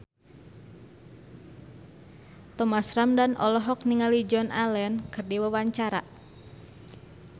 Thomas Ramdhan olohok ningali Joan Allen keur diwawancara